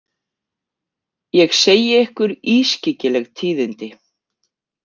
Ég segi ykkur ískyggileg tíðindi.